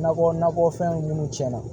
Nakɔ nakɔfɛnw minnu tiɲɛna